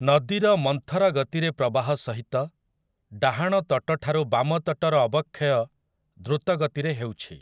ନଦୀର ମନ୍ଥର ଗତିରେ ପ୍ରବାହ ସହିତ, ଡାହାଣ ତଟଠାରୁ ବାମ ତଟର ଅବକ୍ଷୟ ଦ୍ରୁତ ଗତିରେ ହେଉଛି ।